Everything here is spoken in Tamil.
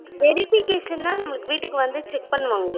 verification னா நமளுக்கு வீடுக்கு வந்து check பண்ணுவாங்களா?